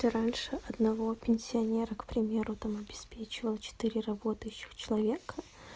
ты раньше одного пенсионера к примеру там обеспечивал четыре работающих человека